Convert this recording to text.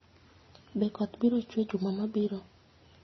Be koth biro chue juma mabiro?